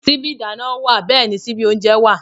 Síbí ìdáná wà bẹ́ẹ̀ni síbí oúnjẹ wà